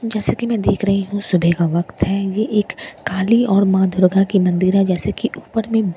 जैसे कि मैं देख रही हूँ सुबह का वक्त है ये एक काली और मां दुर्गा की मंदिर है जैसे कि ऊपर में --